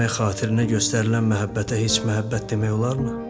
xitirmək xatirinə göstərilən məhəbbətə heç məhəbbət demək olarmı?